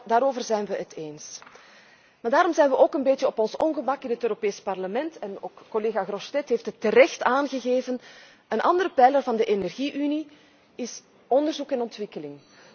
Daarover zijn wij het eens, maar daarom zijn wij ook een beetje op ons ongemak in het Europees Parlement en ook collega Grossetête heeft het terecht aangegeven een andere pijler van de energie unie is onderzoek en ontwikkeling.